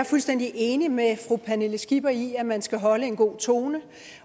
fuldstændig enig med fru pernille skipper i at man skal holde en god tone